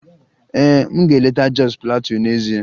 Ee, m ga-eleta Jos Plateau n'ezie